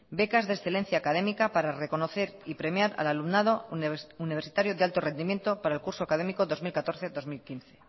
becas de excelencia académica para reconocer y premiar al alumnado universitario de alto rendimiento para el curso académico dos mil catorce dos mil quince